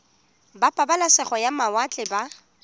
ba pabalesego ya mawatle ba